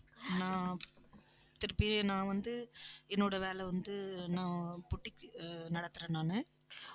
நான் திருப்பி நான் வந்து என்னோட வேலை வந்து நான் boutique நடத்துறேன் நானு